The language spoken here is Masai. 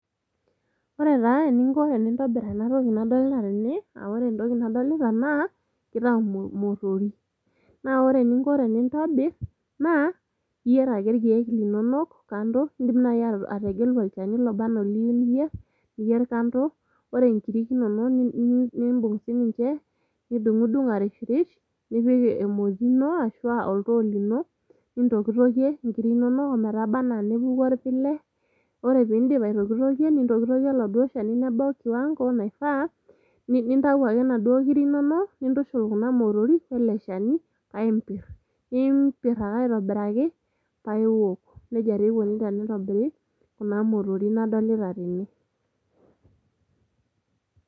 Ore taa eninko tenintobir ena toki nadolta tene aa ore entoki nadolita naa kitayu imotorik . Naa ore eninko tenintobir naa iyier ake irrkiek linonok kando, indim naji ategelu olchani loba anaa oliyieu niyier, niyier kando , ore inkiri inonok nimbung sininche , nidungdung arishrish nipik emoti ino ashuaa oltoo lino ,nintokitokie inkiri inonok ometaba anaa nepuku orpile. Ore pindip aitokitokie, nintokietokie oladuoo shani nebau kiwango naifaa, nintayu ake inaduoo kiri inonok nintushul kuna motorik ele shani paa impir. Nimpir ake aitobiraki paa iwok . Tejia taa eikoni tenitobiri kuna motorik nadolita tene.